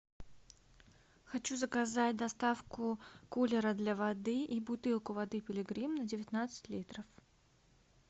хочу заказать доставку кулера для воды и бутылку воды пилигрим на девятнадцать литров